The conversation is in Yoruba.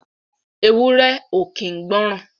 Ewúré ò kín gbọ̀ran.